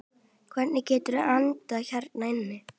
Hvernig geturðu andað hérna inni?